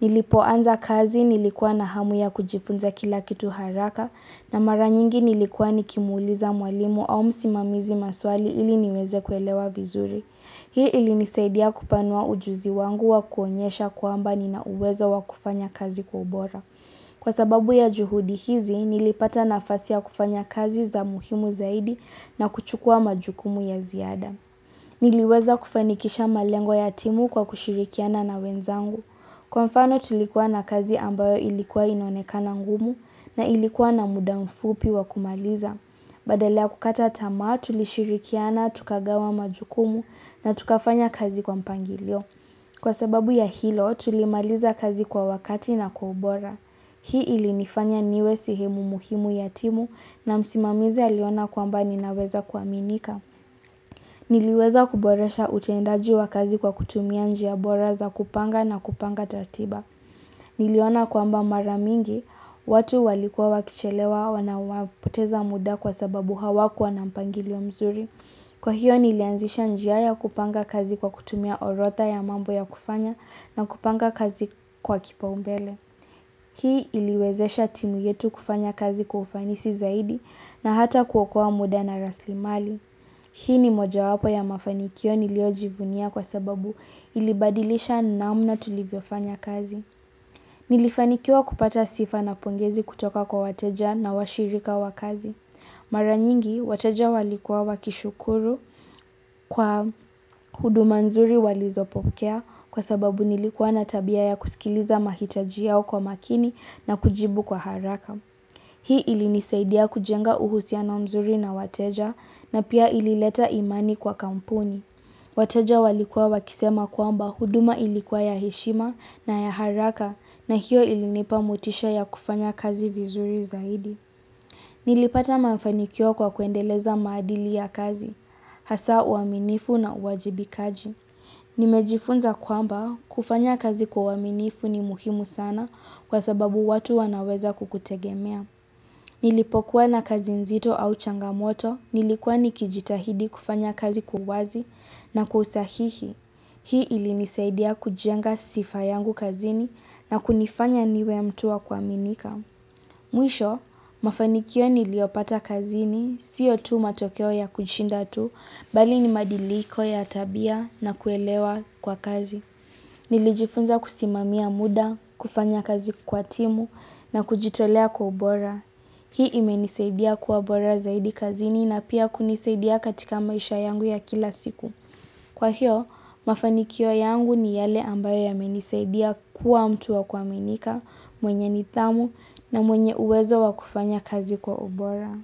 Nilipoanza kazi nilikuwa na hamu ya kujifunza kila kitu haraka na maranyingi nilikuwa nikimuuliza mwalimu au msimamizi maswali ili niweze kuelewa vizuri. Hii ili nisaidia kupanua ujuzi wangu wa kuonyesha kwamba nina uwezo wa kufanya kazi kwa ubora. Kwa sababu ya juhudi hizi, nilipata nafasi ya kufanya kazi za muhimu zaidi na kuchukua majukumu ya ziada. Niliweza kufanikisha malengo ya timu kwa kushirikiana na wenzangu. Kwa mfano tulikuwa na kazi ambayo ilikuwa inoneka na ngumu na ilikuwa na muda mfupi wa kumaliza. Badala kukata tamaa, tulishirikiana, tukagawa majukumu na tukafanya kazi kwa mpangilio. Kwa sababu ya hilo, tulimaliza kazi kwa wakati na kwa ubora. Hii ilinifanya niwe sehemu muhimu ya timu na msimamizi aliona kwamba ninaweza kuaminika. Niliweza kuboresha utendaji wa kazi kwa kutumia njia bora za kupanga na kupanga ratiba. Niliona kwamba maramingi, watu walikua wakichelewa wanapoteza muda kwa sababu hawakuwa na mpangilio mzuri. Kwa hiyo nilianzisha njia kupanga kazi kwa kutumia orodha ya mambo ya kufanya na kupanga kazi kwa kipaumbele. Hii iliwezesha timu yetu kufanya kazi kwa ufanisi zaidi na hata kuokoa muda na rasilimali. Hii ni moja wapo ya mafanikio niliyojivunia kwa sababu ilibadilisha namna tulivyo fanya kazi. Nilifanikiwa kupata sifa na pongezi kutoka kwa wateja na washirika wakazi. Mara nyingi, wateja walikuwa wakishukuru kwa huduma nzuri walizopokea kwa sababu nilikuwa natabia ya kusikiliza mahitaji yao kwa makini na kujibu kwa haraka. Hii ilinisaidia kujenga uhusiano mzuri na wateja na pia ilileta imani kwa kampuni. Wateja walikua wakisema kuamba huduma ilikuwa ya heshima na ya haraka na hiyo ilinipa motisha ya kufanya kazi vizuri zaidi. Nilipata mafanikio kwa kuendeleza maadili ya kazi, hasa uaminifu na uajibikaji. Nimejifunza kwamba kufanya kazi kwa uaminifu ni muhimu sana kwa sababu watu wanaweza kukutegemea. Nilipokuwa na kazi nzito au changamoto nilikuwa nikijitahidi kufanya kazi kwa uwazi na kwa usahihi. Hii ilinisaidia kujenga sifa yangu kazini na kunifanya niwe mtu wa kuaminika. Mwisho, mafanikio niliyopata kazini, siyo tu matokeo ya kushinda tu, bali ni mabadiliko ya tabia na kuelewa kwa kazi. Nilijifunza kusimamia muda, kufanya kazi kwa timu na kujitolea kwa ubora. Hii imenisaidia kuwa bora zaidi kazini na pia kunisaidia katika maisha yangu ya kila siku. Kwa hiyo, mafanikio yangu ni yale ambayo yamenisaidia kuwa mtu wa kuaminika, mwenye nidhamu na mwenye uwezo wa kufanya kazi kwa obora.